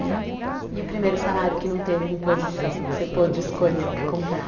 Né. E o primeiro salário que não teve imposição, que você pôde escolher o que comprar?